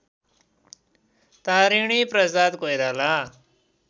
Tariniprasad Koirala